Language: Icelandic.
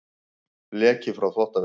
Leki frá þvottavél